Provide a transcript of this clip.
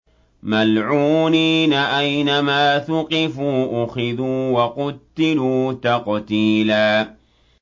مَّلْعُونِينَ ۖ أَيْنَمَا ثُقِفُوا أُخِذُوا وَقُتِّلُوا تَقْتِيلًا